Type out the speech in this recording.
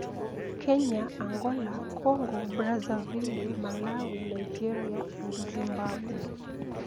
Kenya, Angola, Congo-Brazzaville, Malawi, Nigeria and Zimbabwe ​